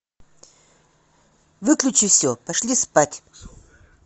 выключи все пошли спать